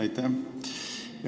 Aitäh!